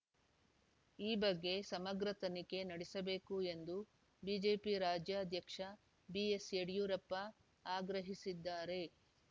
ಈ ಬಗ್ಗೆ ಸಮಗ್ರ ತನಿಖೆ ನಡೆಸಬೇಕು ಎಂದು ಬಿಜೆಪಿ ರಾಜ್ಯಾಧ್ಯಕ್ಷ ಬಿಎಸ್‌ಯಡಿಯೂರಪ್ಪ ಆಗ್ರಹಿಸಿದ್ದಾರೆ